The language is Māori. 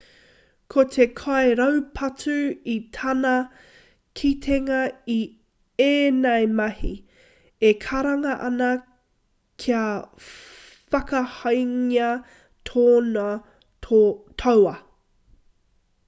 ko te kairaupatu i tāna kitenga i ēnei mahi e karanga ana kia whakakahangia tōna tauā